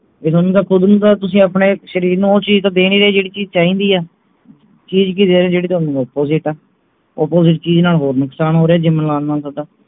ਜੇ ਥੋਨੂੰ ਇਹਦਾ ਕੁਛ ਨੀ ਪਤਾ ਤੁਸੀਂ ਆਪਣੇ ਸ਼ਰੀਰ ਨੂੰ ਉਹ ਚੀਜ ਤਾਂ ਦੇ ਨਹੀਂ ਰਹੇ ਜਿਹੜੀ ਚੀਜ ਚਾਹੀਦੀ ਹੈ ਚੀਜ ਕਿ ਚਾਹੀਦੀ ਹੈ ਜਿਹੜੀ ਥੋਨੂੰ opposite ਹੈ opposite ਚੀਜ ਨਾਲ ਹੋਰ ਨੁਕਸਾਨ ਹੋ ਰਿਹੇ gym ਲਾਣ ਨਾਲ ਥੋਡਾ